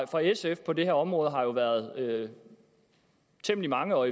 fra sf på det her område har jo været temmelig mange og